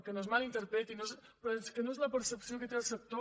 que no es mal interpreti però és que no és la percepció que té el sector